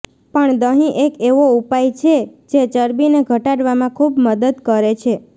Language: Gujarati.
પણ દહીં એક એવો ઉપાય છે જે ચરબીને ઘટાડવામાં ખુબ મદદ કરે છે